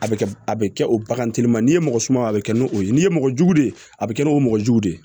A bɛ kɛ a bɛ kɛ o bagantigi ma n'i ye mɔgɔ suma a bɛ kɛ n'o ye n'i ye mɔgɔ jugu de ye a bɛ kɛ n'o mɔgɔ jugu de ye